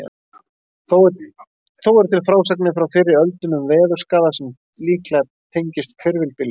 Þó eru til frásagnir frá fyrri öldum um veðurskaða sem líklega tengist hvirfilbyljum.